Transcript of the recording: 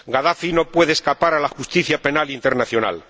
Gadafi no puede escapar a la justicia penal internacional.